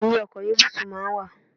Ẹ̀yìn ọkọ̀ ni búùtù máa ń wà.